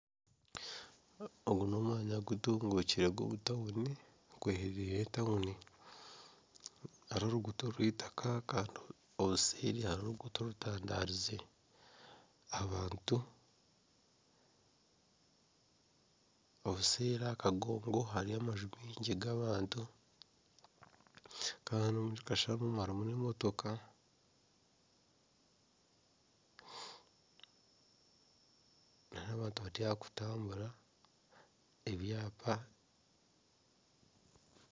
Ogu n'omwanya gutunguukire gw'omutauni gweherereire etauni hariho oruguuto orweitaka kandi hariho oruguuto orutandaarize, abantu obuseeri aha kagongo hariyo amaju maingi g'abantu kandi harimu nana emotoka nana abantu bari aha kutambura ebyapa